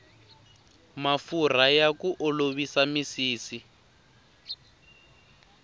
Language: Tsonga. mafurha ya ku olovisa misisi